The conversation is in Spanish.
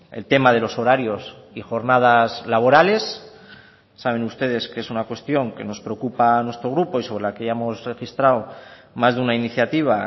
el tema de los horarios y jornadas laborales saben ustedes que es una cuestión que nos preocupa a nuestro grupo y sobre la que ya hemos registrado más de una iniciativa